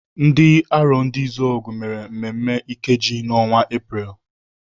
Ndị Arondizuogu mere mmemme Ikeji n'ọnwa Epreel.